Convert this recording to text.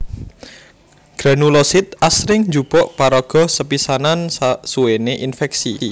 Granulosit asring njupuk paraga sepisanan sasuwéné infèksi